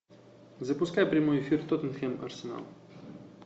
запускай прямой эфир тоттенхэм арсенал